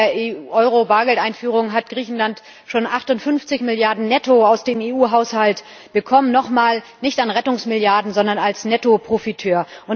Seit der Euro Bargeldeinführung hat Griechenland schon 58 Milliarden netto aus dem EU Haushalt bekommen. Nochmal nicht als Rettungsmilliarden, sondern als Netto Profiteur.